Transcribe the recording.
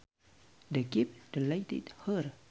The gift delighted her